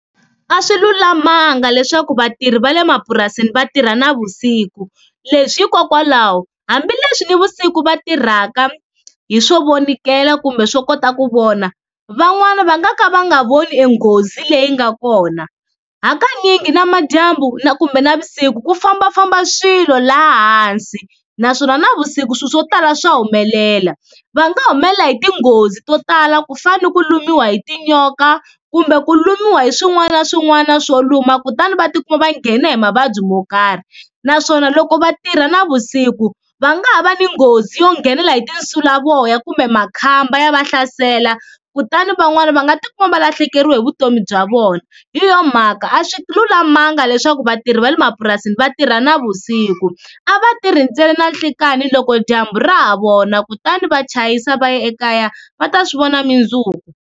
A swi lulamanga leswaku vatirhi va le mapurasini va tirha navusiku leswi hikokwalaho hambileswi nivusiku va tirhaka hi swo vonikela kumbe swo kota ku vona, van'wana va nga ka va nga voni e nghozi leyi nga kona hakanyingi na madyambu na kumbe navusiku ku fambafamba swilo laha hansi naswona navusiku swilo swo tala swa humelela, va nga humelela hi tinghozi to tala ku fana ni ku lumiwa hi tinyoka kumbe ku lumiwa hi swin'wana na swin'wana na swo luma kutani va tikuma va nghena hi mavabyi mo karhi, naswona loko va tirha navusiku va nga ha va ni nghozi yo nghenela hi tinsulavoya kumbe makhamba ya va hlasela kutani van'wana va nga tikuma va lahlekeriwe hi vutomi bya vona, hi yona mhaka a swi lulamanga leswaku vatirhi va le mapurasini va tirha navusiku, a va tirhi ntsena na nhlekani loko dyambu ra ha vona kutani va chayisa va ya ekaya va ta swi vona mundzuku.